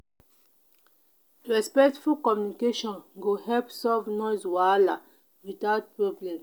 respectful communication go help solve noise wahala without problem.